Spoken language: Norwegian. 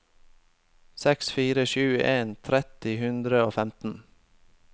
seks fire sju en tretti ni hundre og femten